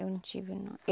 Eu não tive, não.